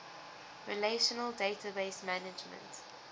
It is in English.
relational database management